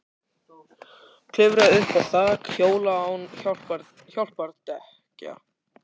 Klifra upp á þak- hjóla án hjálpardekkja